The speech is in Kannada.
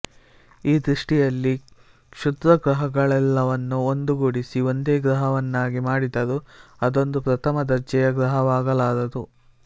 ಈ ದೃಷ್ಟಿಯಲ್ಲಿ ಕ್ಷುದ್ರಗ್ರಹಗಳೆಲ್ಲವನ್ನು ಒಂದುಗೂಡಿಸಿ ಒಂದೇ ಗ್ರಹವನ್ನಾಗಿ ಮಾಡಿದರೂ ಅದೊಂದು ಪ್ರಥಮ ದರ್ಜೆಯ ಗ್ರಹವಾಗಲಾರದು